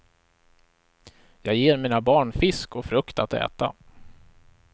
Jag ger mina barn fisk och frukt att äta.